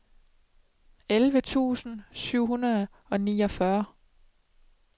elleve tusind syv hundrede og niogfyrre